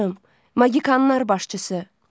Magikanlar başçısı.